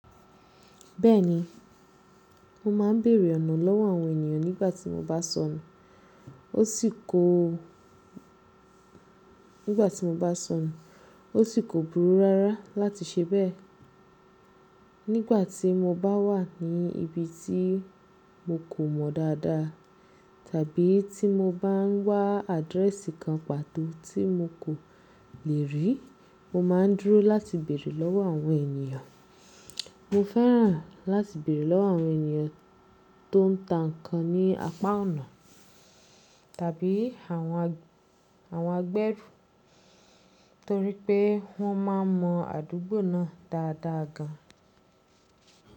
Bẹ́ẹ̀ni, mo máa ń bèèrè ọ̀nà lọ́wọ́ àwọn ènìyàn nígbà tí mo bá sọnù. Ó sì kò, nígbà tí mo bá sọnù, ó sì kò burú rárá láti ṣe bẹ́ẹ̀. Nígbà tí mo bá wà ní ibi tí mo kò mọ dáadáa tàbí tí mo bá ń wá àdírẹ́sì kan pàtó tí mo kò le rí, mo máa ń dúró láti bèèrè lọ́wọ́ àwọn ènìyàn. Mo fẹ́ràn láti bèèrè lọ́wọ́ àwọn ènìyàn tó ń ta nǹkan ní apá ọ̀nà tàbí àwọn, àwọn agbẹ́rù torí pé wọ́n máa ń mọ àdúgbò náà dáadáa gan.